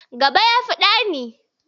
Gaba ya fi ɗani.